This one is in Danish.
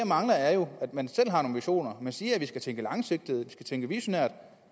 mangler er at man selv har nogle visioner man siger at vi skal tænke langsigtet at skal tænke visionært